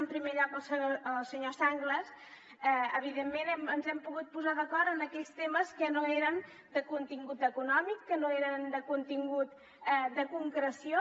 en primer lloc al senyor sanglas evidentment ens hem pogut posar d’acord en aquells temes que no eren de contingut econòmic que no eren de contingut de concreció